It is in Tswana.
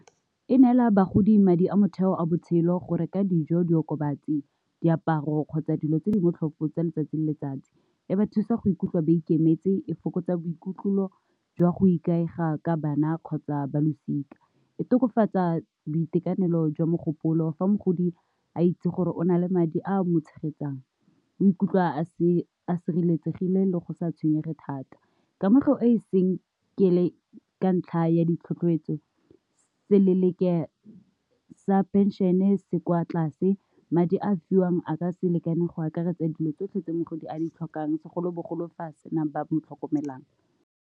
E neela bagodi madi a motheo a botshelo go reka dijo, diokobatsi, diaparo kgotsa, dilo tse di botlhokwa tsa letsatsi le letsatsi, e ba thusa go ikutlwa ba ikemetse, e fokotsa boikutlo jwa go ikaega ka bana kgotsa ba losika, e tokafatsa boitekanelo jwa mogopolo fa mogodi a itse gore o na le madi a mo tshegetsang, o ikutlwa a se sireletsegile le go sa tshwenyege thata. Kamego e seng ke ile ka ntlha ya ditlhotlheletso seleleke sa pension-e se kwa tlase, madi a a fiwang a ka se lekane go akaretsa dilo tsotlhe tse mogodi a di tlhokang segolobogolo fa a sena ba mo tlhokomelang.